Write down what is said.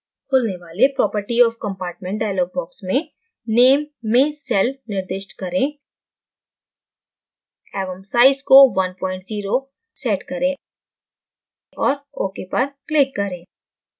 खुलने वाले property of compartment dialog box में name में cell निर्दिष्ट करें एवं size को 10 set करें और ok पर click करें